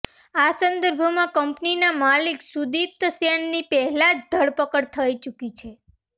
આ સંદર્ભમાં કંપનીના માલિક સુદીપ્ત સેનની પહેલા જ ધરપકડ થઇ ચૂકી છે